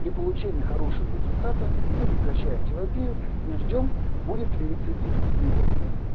при получении хорошего результата мы прекращаем терапию и ждём будет ли рецидив либо нет